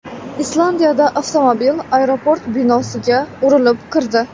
Islandiyada avtomobil aeroport binosiga urilib kirdi.